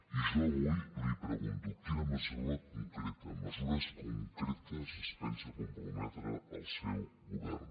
i jo avui li pregunto amb quines mesures concretes es pensa comprometre el seu govern